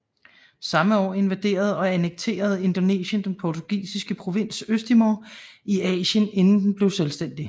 Samme år invaderede og annekterede Indonesien den portugisiske provins Østtimor i Asien inden den blev selvstændig